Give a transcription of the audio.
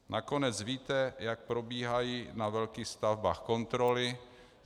Nakonec víte, jak probíhají na velkých stavbách kontroly.